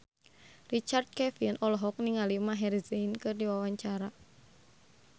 Richard Kevin olohok ningali Maher Zein keur diwawancara